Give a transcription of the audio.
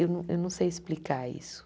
Eu não eu não sei explicar isso.